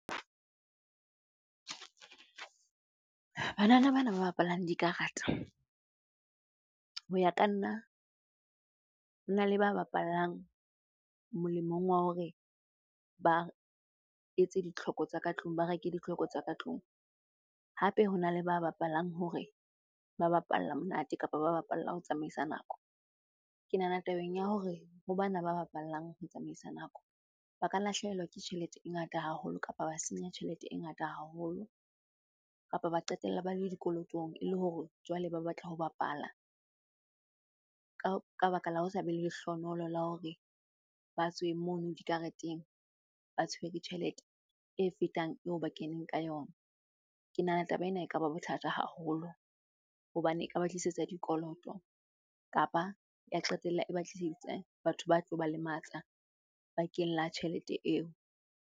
Banana bana ba bapalang dikarata ho ya ka nna, na le ba bapallang molemong wa hore ba etse ditlhoko tsa ka tlung, ba reke ditlhoko tsa ka tlung. Hape hona le ba bapalang hore ba bapalla monate kapa ba bapalla ho tsamaisa nako. Ke nahana tabeng ya hore ho bana ba bapalang ho tsamaisa nako, ba ka lahlehelwa ke tjhelete e ngata haholo, kapa ba senya tjhelete e ngata haholo, kapa ba qetella ba le dikolotong e le hore jwale ba batla ho bapala ka baka la ho sabe le lehlonoholo la hore ba tswe mono dikareteng ba tshwere tjhelete e fetang eo ba keneng ka yona. Ke nahana taba ena ekaba bothata haholo hobane ekaba tlisetsa dikoloto, kapa ya qetella e ba tlisetsa batho ba tlo ba lematsa bakeng la tjhelete eo.